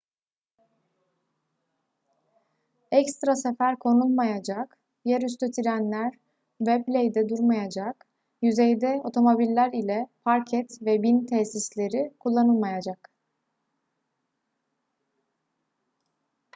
ekstra sefer konulmayacak yer üstü trenler wembley'de durmayacak yüzeyde otomobiller ile park et ve bin tesisleri kullanılmayacak